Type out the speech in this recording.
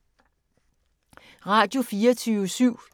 Radio24syv